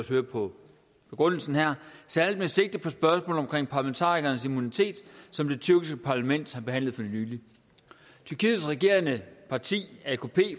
høre på begrundelsen her særlig med sigte på spørgsmålet omkring parlamentarikernes immunitet som det tyrkiske parlament har behandlet for nylig tyrkiets regerende parti